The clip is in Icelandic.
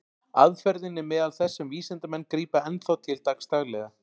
Aðferðin er meðal þess sem vísindamenn grípa enn þá til dagsdaglega.